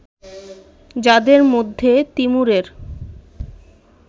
যাদের মধ্যে তিমুরের